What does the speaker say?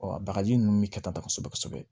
bagaji ninnu bɛ kɛ tan kosɛbɛ